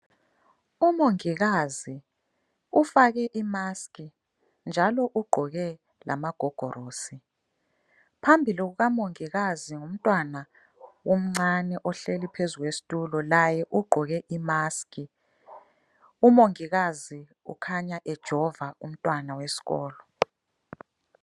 Umongikazi ufake imaskhi njalo ugqoke lamagogorosi. Phambili kuka mongikazi ngumntwana omncane ohleli phezulu kwesitulo laye ugqoke imaskhi, umongikazi ukhanya ejova umntwana wesikolo.